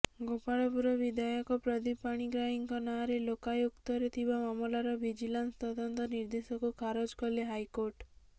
ଗୋପାଳପୁର ବିଧାୟକ ପ୍ରଦୀପ ପାଣିଗ୍ରାହୀଙ୍କ ନାଁରେ ଲୋକାୟୁକ୍ତରେ ଥିବା ମାମଲାର ଭିଜିଲାନ୍ସ ତଦନ୍ତ ନିର୍ଦ୍ଦେଶକୁ ଖାରଜ କଲେ ହାଇକୋର୍ଟ